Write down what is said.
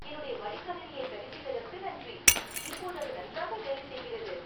என்னுடைய மடிக்கணினியைச் சரிசெய்ததற்கு நன்றி. இப்போது அது நன்றாக வேலை செய்கிறது.